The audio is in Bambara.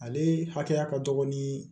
Ale hakɛya ka dɔgɔ ni